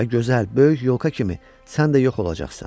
və gözəl, böyük yolka kimi, sən də yox olacaqsan.